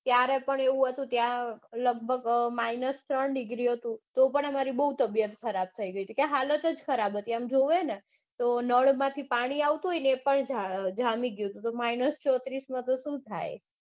ત્યારે પણ એવું હતું ત્યાં લગભગ minus ત્રણ degree હતું તોપણ હમારી બઉ તબિયત ખરાબ થઇ તી કે હાલત જ ખરાબ હતી આમ જોએને તો નળમાંથી પાણી આવેને એ પણ જામી ગયું તું તો minus ચોત્રીસમાં તો સુ થાય.